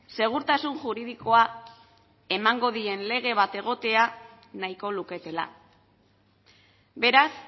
segurtasun juridikoa emango dien lege bat egotea nahiko luketela beraz